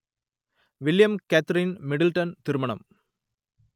William Catherine Middleton திருமணம்